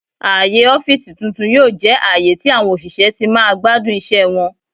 Aaye ọfiisi tun-tun yoo jẹ aaye tí àwọn òṣìṣẹ́ ti máa gbadun iṣẹ wọn.